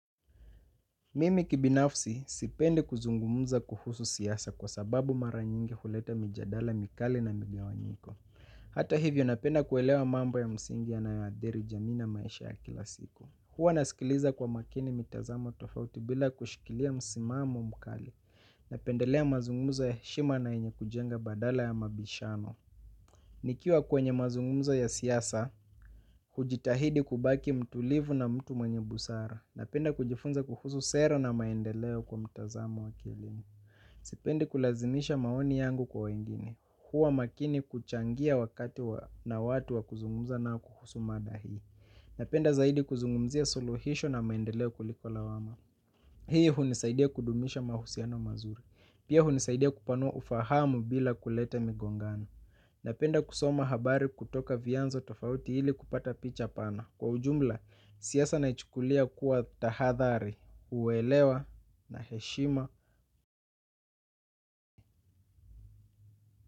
Mimi kibinafsi sipendi kuzungumuza kuhusu siasa kwa sababu mara nyingi huleta mijadala mikali na migawanyiko. Hata hivyo napenda kuelewa mambo ya msingi yanayoathiri jamii na maisha ya kila siku. Huwa nasikiliza kwa makini mitazamo tofauti bila kushikilia msimamo mkali. Napendelea mazungumzo ya heshima na yenye kujenga badala ya mabishano. Nikiwa kwenye mazungumuzo ya siasa, hujitahidi kubaki mtulivu na mtu mwenye busara. Napenda kujifunza kuhusu sera na maendeleo kwa mtazamo wa kielimu. Sipendi kulazimisha maoni yangu kwa wengine. Huwa makini kuchangia wakati na watu wa kuzungumza kuhusu mada hii. Napenda zaidi kuzungumzia suluhisho na maendeleo kuliko lawama. Hii hunisaidia kudumisha mahusiano mazuri. Pia hunisaidia kupanua ufahamu bila kuleta migongano. Napenda kusoma habari kutoka vianzo tofauti ili kupata picha pana. Kwa ujumla, siasa naichukulia kuwa tahadhari uelewa na heshima.